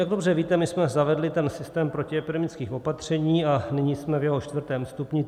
Jak dobře víte, my jsme zavedli ten systém protiepidemických opatření a nyní jsme v jeho čtvrtém stupni.